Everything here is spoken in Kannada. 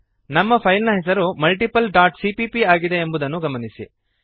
ನಮ್ಮ ಫೈಲ್ ನ ಹೆಸರು multipleಸಿಪಿಪಿ ಆಗಿದೆ ಎಂಬುದನ್ನು ಗಮನಿಸಿರಿ